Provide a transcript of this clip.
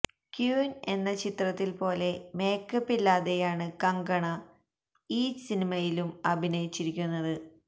queen എന്ന ചിത്രത്തില് പോലെ മേക്കപ്പില്ലാതെയാണ് കങ്കണ ഈ സിനിമയിലും അഭിനയിച്ചിരിക്കുന്നത്